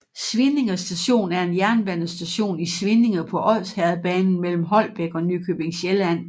Svinninge Station er en jernbanestation i Svinninge på Odsherredsbanen mellem Holbæk og Nykøbing Sjælland